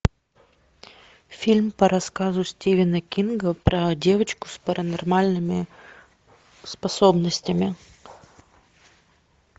фильм по рассказу стивена кинга про девочку с паранормальными способностями